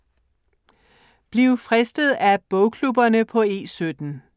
Bliv fristet af bogklubberne på E17